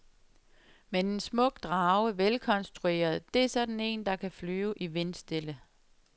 Men en smuk drage, velkonstrueret, det er sådan en, der kan flyve i vindstille.